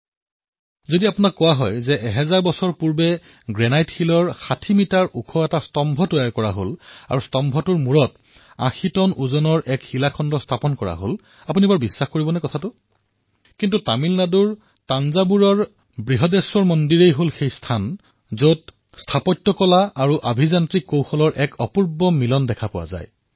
যদি কোনোবাই আপোনাক কয় যে প্ৰায় হাজাৰ বৰ্ষ পূৰ্বে গ্ৰেণাইটৰ দ্বাৰা ৬০ মিটাৰতকৈও অধিক এক ওখ স্তম্ভ নিৰ্মাণ কৰা হৈছিল আৰু তাৰ শিখৰত প্ৰায় ৮০ টনৰ এক শিলাখণ্ড ৰখা হৈছিল তেন্তে আপুনি বিশ্বাল কৰিব কিন্তু তামিলনাডুৰ তঞ্জাৱুৰ কাবৃহদেশ্বৰ মন্দিৰ হল সেই স্থান যত স্থাপত্য কলা আৰু ইঞ্জিনীয়াৰিঙৰ এই অবিশ্বনীয় মিলাপৰ খেল দেখা যায়